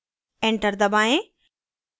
enter दबाएँ